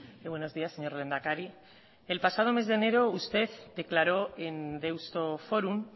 y buenos días señor lehendakari el pasado mes de enero usted declaró en deusto forum